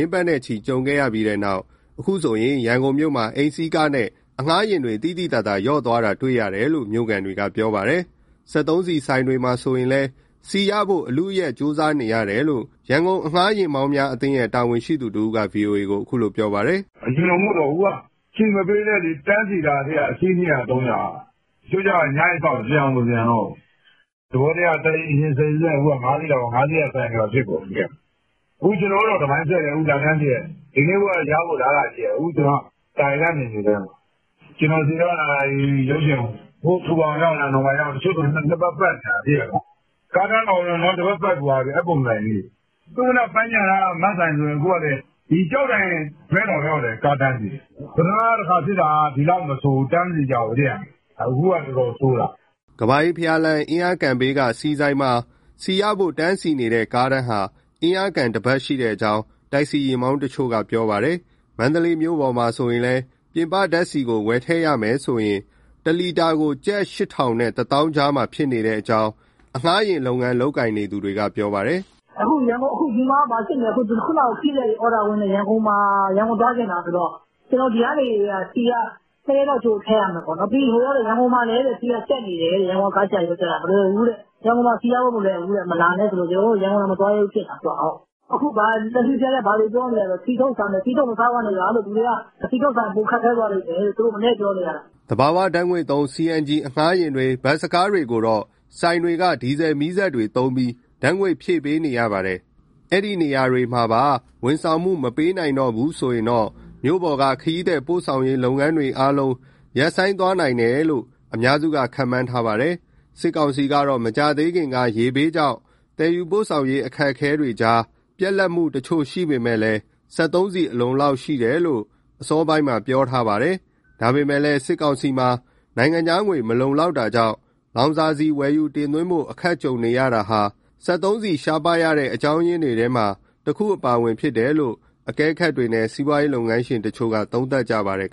င်းပတ်နဲ့ချီ ကြုံခဲ့ရပြီးနောက် ဒီကနေ့ဆိုရင် ရန်ကုန်မြို့မှာ အိမ်စီးကားနဲ့ အငှားယာဉ် သိသိသာသာ လျော့သွားတာ တွေ့ရတယ်လို့ မြို့ခံတွေက ပြောပါတယ်။ စက်သုံးဆီဆိုင်တွေမှာ ဆိုရင်လည်း ဆီရဖို့ အလုအယက် ကြိုးစားနေရတယ်လို့ ရန်ကုန်အငှားယာဉ်မောင်းများအသင်းရဲ့ တာဝန်ရှိသူတဦးက ဗွီအိုအေကို အခုလို ပြောပါတယ်။ " အရင်လိုမဟုတ်တော့ဘူး အခုက ဆီမပေးလည်း တန်းစီထားတာ အစီး၂၀၀-၃၀၀ က။ တချို့လည်း ညအိပ်စောင့်တယ် ပြန်ကိုမပြန်တော့ဘူး။ သဘောတရားက တက္ကစီယာဉ် ၁၀စီးရှိရင် ၅စီးက ဆိုင်တွေမှာဖြစ်ကုန်ပြီ။ အခုကျနော်တို့တောင် တပိုင်းဆွဲတယ်၊ လာတန်းစီတယ်။ ဒီနေ့အဖို့တော့ ရဖို့အလားအလာရှိတယ် အခုကျနော်က သာကေတနယ်မြေထဲမှာ။ ကျနော်စီတုန်းက ရုပ်ရှင်ရုံ၊ အခု ထူပါရုံရောက်၊ အနော်မာရောက်နေပြီ။ တချို့ဆို ၂ပတ် ပတ်နေရတာ။ ကားတန်းတောင် တပတ်ပတ်ပြီးသွားပြီ အဲပုံစံကြီးတွေ။ သုဝဏ္ဏပန်းခြံနားက Max ဆိုင်ဆို ကျောက်တိုင်ဘက်တောင်ရောက်တယ် ကားတန်းစီတာ။ ပထမတခါဖြစ်တာ ဒီလောက်မဆိုးဘူး တန်းမစီကြဘူး၊ အခုက တော်တော်ဆိုးတာ။" ကမ္ဘာအေးဘုရားလမ်း၊ အင်းလျားကန်ဘေးက ဆီဆိုင်မှာ ဆီရဖို့တန်းစီနေတဲ့ ကားတန်းက အင်းလျားကန်တပတ် ရှိကြောင်း တက္ကစီယာဉ်မောင်းတချို့က ပြောပါတယ်။ မန္တလေးမြို့ပေါ်မှာလည်း ပြင်ပဓာတ်ဆီကို ဝယ်ထည့်ရမယ်ဆိုရင် တလီတာကို ကျပ် ၈,၀၀၀ နဲ့ ၁၀,၀၀၀ ကြား ဖြစ်ကြောင်း အငှားယာဉ်လုပ်ငန်း လုပ်ကိုင်နေသူတွေက ပြောပါတယ်။ " အခုဒီမှာ (မန္တလေးမှာ) ဘာဖြစ်နေလဲဆိုတော့ ခရီးသည်တွေ အော်ဒါဝင်တယ်၊ ရန်ကုန်သွားချင်တာဆိုတော့ ဒီကနေဆီက ၂ရက်လောက် ကြိုထည့်ရမှာ။ ပြီးရင် ဟိုမှာ ရန်ကုန်မှာလည်း ဆီကပြတ်နေတယ်တဲ့ ရန်ကုန်က ကားဆရာတွေ ပြောပြတာ၊ ရန်ကုန်မှာ ဆီရဖို့မလွယ်ဘူးတဲ့ မလာနဲ့ဆိုလို့ ရန်ကုန်တောင် မသွားရဲဘူးဖြစ်နေတာ။ အခု တက္ကစီဆရာတွေက ဘာတွေပြောလဲဆိုတော့ ဆီထုတ်စားမယ်၊ ဆီထုတ်မစားပါနဲ့ဗျာ လူတွေက ဆီထုတ်စားရင် ပိုခက်ခဲသွားလိမ့်မယ်လို့ မနည်းပြောနေရတယ်။" သဘာဝဓာတ်ငွေ့သုံး CNG အငှားယာဉ်တွေ၊ ဘတ်စ်ကားတွေကိုတော့ ဆိုင်တွေက ဒီဇယ်မီးစက်တွေသုံးပြီး ဓာတ်ငွေ့ဖြည့်ပေးရပါတယ်။ ဒီနေရာတွေမှာပါ ဝန်ဆောင်မှု မပေးနိုင်တော့ဘူး ဆိုရင်တော့ မြို့ပေါ်က ခရီးသည်ပို့ဆောင်ရေး လုပ်ငန်းတွေအားလုံး ရပ်ဆိုင်းသွားနိုင်တယ်လို့ အများစုက ခန့်မှန်းထားပါတယ်။ စစ်ကောင်စီကတော့ မကြာသေးခင်က ရေဘေးကြောင့် သယ်ယူပို့ဆောင်ရေး အခက်အခဲကြား ပြတ်လတ်မှုတချို့ ရှိပေမဲ့၊ စက်သုံးဆီ အလုံအလောက် ရှိတယ်လို့ အစောပိုင်းမှာ ပြောဆိုထားတာပါ။ ဒါပေမဲ့လည်း စစ်ကောင်စီမှာ နိုင်ငံခြားငွေ မလုံလောက်တာကြောင့် လောင်စာဆီ ဝယ်ယူတင်သွင်းဖို့ အခက်ကြုံနေရတာဟာ စက်သုံးဆီရှားပါးရတဲ့ အကြောင်းရင်းတွေထဲမှာ တခုအပါအဝင် ဖြစ်တယ်လို့ အကဲခတ်တွေနဲ့ စီးပွားရေးလုပ်ငန်းရှင်တချို့က သုံးသပ်ကြပါတယ်